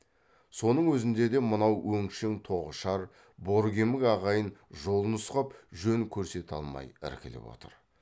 соның өзінде де мынау өңшең тоғышар боркемік ағайын жол нұсқап жөн көрсете алмай іркіліп отыр